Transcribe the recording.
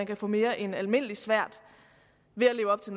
kan få mere end almindelig svært ved at leve op til